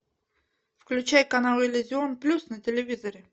включай канал иллюзион плюс на телевизоре